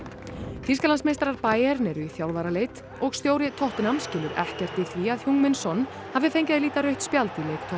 Bayern eru í þjálfaraleit og stjóri tottenham skilur ekkert í því að min son hafi fengið að líta rautt spjald